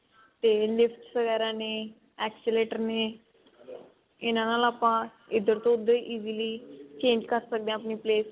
ਤੇ nips ਵਗੇਰਾ ਨੇ excavator ਨੇ ਇਹਨਾ ਨਾਲ ਆਪਾਂ ਇੱਧਰ ਤੋਂ ਉੱਧਰ easily change ਕਰ ਸਕਦੇ ਹਾਂ ਆਪਣੀ place